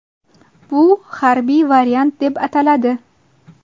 Bu harbiy variant deb ataladi.